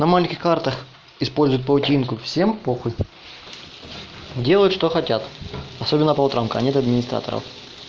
на маленьких картах используют паутинку всем похуй делают что хотят особенно по утрам когда нет администраторов